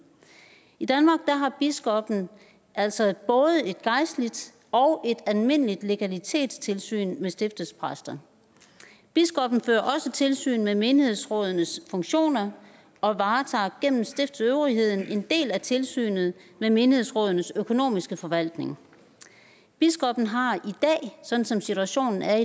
i danmark har biskoppen altså både et gejstligt og et almindeligt legalitetstilsyn med stiftets præster biskoppen fører også tilsyn med menighedsrådenes funktioner og varetager gennem stiftsøvrigheden en del af tilsynet med menighedsrådenes økonomiske forvaltning biskoppen har i dag sådan som situationen er